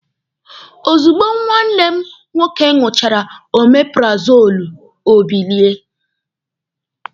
Ozugbo nwanne m nwoke ṅụchara omeparazoolu, o bilie.